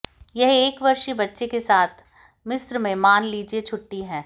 यह एक वर्षीय बच्चे के साथ मिस्र में मान लीजिए छुट्टी है